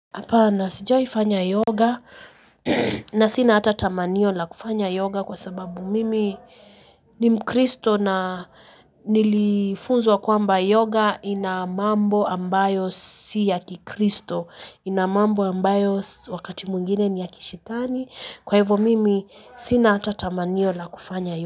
Hapa sijawahi kufanya yoga na sina hata tamanio la kufanya yoga kwa sababu mimi ni mkristo na nilifunzwa kwamba yoga ina mambo ambayo si ya kikristo. Ina mambo ambayo wakati mwingine ni ya kishetani kwa hivyo mimi sina hata tamanio la kufanya yoga.